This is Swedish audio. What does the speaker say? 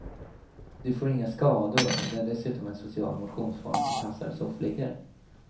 Du får inga skador och det är dessutom en social motionsform som passar soffliggare.